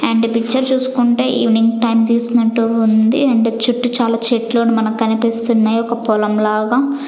and picture చూసుకుంటే evening time తీసినట్టు ఉంది అండ్ చుట్టూ చాలా చెట్లు మనకనిపిస్తున్నాయ్ ఒక పొలం లాగా --